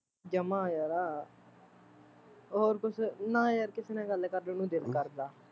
ਜਮਾ ਯਾਰਾਂ ਹੋਰ ਕੁਸ ਨਾ ਯਾਰ ਕਿਸੇ ਨਾਲ਼ ਗੱਲ ਕਰਨ ਨੂੰ ਦਿਲ ਕਰਦਾ